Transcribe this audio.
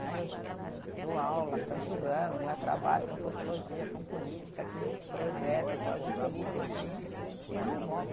Eh eu dou aula há tantos anos né, trabalho com sociologia, com política, tive projeto tal de política e e não voto.